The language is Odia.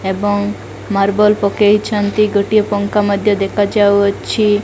ଏବଂ ମାର୍ବଲ ପକେଇଛନ୍ତି ଗୋଟିଏ ପଙ୍କା ମଧ୍ୟ ଦେଖାଯାଉ ଅଛି।